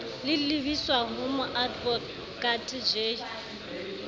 le lebiswa ho moadvokate j